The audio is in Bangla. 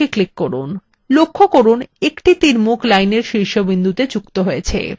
লক্ষ্য করুন একটি তীরমুখ lineএর শীর্ষ বিন্দুতে যুক্ত হয়েছে